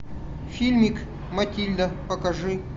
фильмик матильда покажи